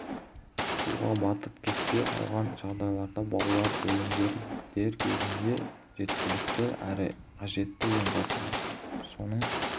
суға батып кетсе қалған жағдайларда балалар өлімдері дер кезінде жеткілікті әрі қажетті ем жасалмағандықтан соның